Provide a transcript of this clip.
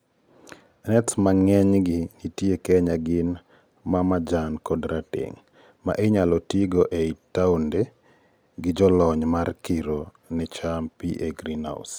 nets ma ng;enygi nitie kenya gin ma majan kod rateng', ma inyalo tigo ei townde gi jolony mar kiro ni cham pii ei greenhouse